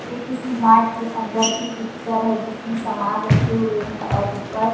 ये किसी मार्ट के अंदर की पिक्चर है जिसमें समान रखे हुए हैं और ऊपर--